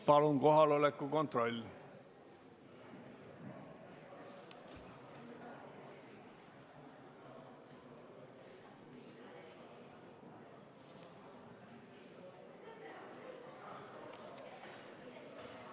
Palun kohaloleku kontroll!